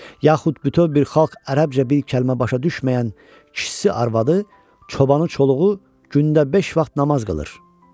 Yaxud bütöv bir xalq ərəbcə bir kəlmə başa düşməyən kişisi, arvadı, çobanı, çoluğu gündə beş vaxt namaz qılır.